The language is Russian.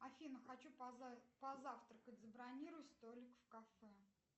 афина хочу позавтракать забронируй столик в кафе